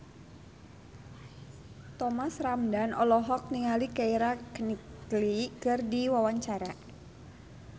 Thomas Ramdhan olohok ningali Keira Knightley keur diwawancara